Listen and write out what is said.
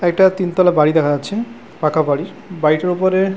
একটা তিনতলা বাড়ি দেখা যাচ্ছে পাকা বাড়ি বাড়িটার ওপরে --